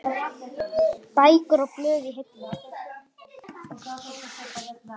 Bækur og blöð í hillum.